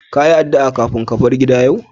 Ka yi addu'a kafin ka bar gida yau?